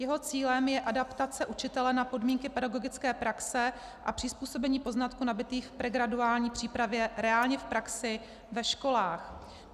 Jeho cílem je adaptace učitele na podmínky pedagogické praxe a přizpůsobení poznatků nabytých v pregraduální přípravě reálně v praxi ve školách.